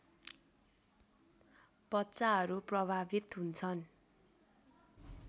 बच्चाहरू प्रभावित हुन्छन्